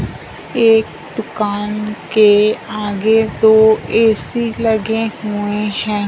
एक दुकान के आगे दो ऐ_सी लगे हुएं हैं।